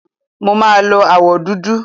Mo máa lo àwọ̀ dúdú.